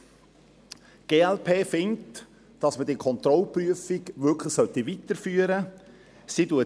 Die glp findet, dass die Kontrollprüfung weitergeführt werden sollte.